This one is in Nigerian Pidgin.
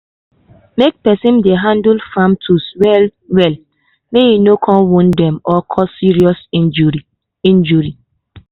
make person dey handle farm tools well-well make e no go wound dem or cause serious injury. injury.